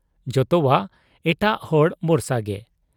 ᱡᱚᱛᱚᱣᱟᱜ ᱮᱴᱟᱜ ᱦᱚᱲ ᱵᱚᱨᱥᱟᱜᱮ ᱾